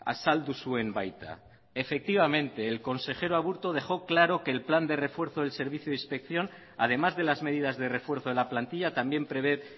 azaldu zuen baita efectivamente el consejero aburto dejó claro que el plan de refuerzo del servicio de inspección además de las medidas de refuerzo de la plantilla también prever